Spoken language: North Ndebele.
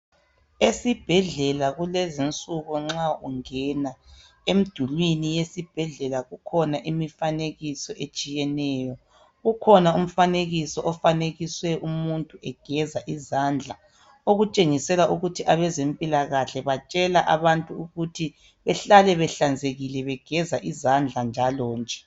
Esibhedlela lezi nsuku nxa ungena emdulini yesibhedlela kukhona imifanekiso etshiyeneyo kukhona umfanekiso ofanekise umuntu egeza izandla okutshengisela ukuthi abezempilakahle batshela abantu ukuthe behlale behlanzekile begeza izandla njalonje